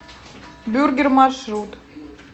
бюргер маршрут